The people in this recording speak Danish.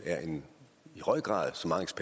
i høj grad